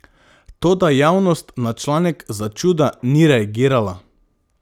Toda javnost na članek začuda ni reagirala.